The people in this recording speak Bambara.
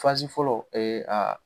fɔlɔ